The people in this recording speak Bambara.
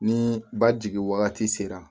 Ni ba jigin wagati sera